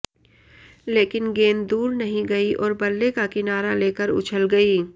लेकिन गेंद दूर नहीं गई और बल्ले का किनारा लेकर उछल गई